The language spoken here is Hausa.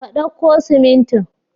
Ka dauko siminti.